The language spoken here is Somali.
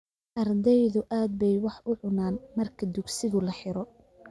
Ardaydu aad bay wax u cunaan marka dugsigu laa xiro